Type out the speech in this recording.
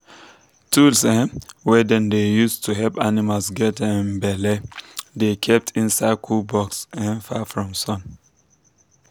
tools um wey dem dey use to help animals get um belle dey kept inside cool box um far from sun.